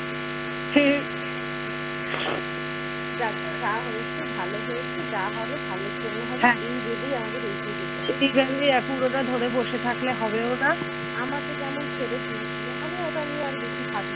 আমাকে যেমন ছেড়ে দিয়েছিল আমি ওটা নিয়ে আর বেশি ভাবিনা